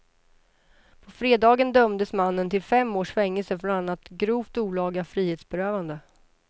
På fredagen dömdes mannen till fem års fängelse för bland annat grovt olaga frihetsberövande.